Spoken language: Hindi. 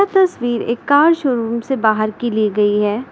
तस्वीर एक कार शोरूम से बाहर की ली गई है।